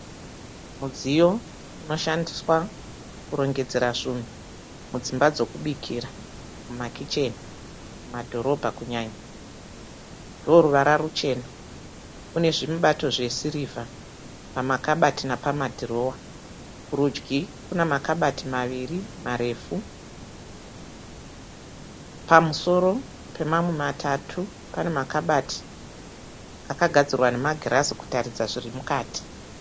Mudziyo unoshandiswa kurongedzera zvunhu mudzimba dzokubikira mumakicheni mumadhorobha kunyanya ndowo ruvara ruchena une zvimubato zvesirivha pamakabati napamadhirowa kurudyi kuna makabati maviri marefu pamusoro pemamwe matatu pane makabati akagadzirwa nemagirazi kutaridza zviri mukati.